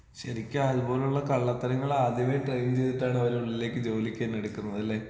ശെരിക്കും അത് പോലുള്ള കള്ളത്തരങ്ങൾ ആദ്യമെ ടൈം ചെയ്തിട്ടാണ് അവര് ഉള്ളിലേക്ക് ജോലിക്കന്നെ എടുക്കുന്നത് അല്ലെ?